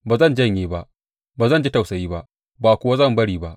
Ba zan janye ba; ba zan ji tausayi ba, ba kuwa zan bari ba.